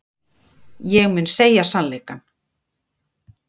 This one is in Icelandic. Ég mun segja sannleikann.